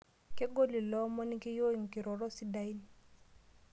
Kegol ilo omoni keyieu nkirorot sidain.